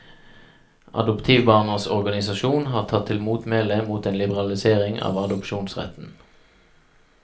Adoptivbarnas organisasjon har tatt til motmæle mot en liberalisering av adopsjonsretten.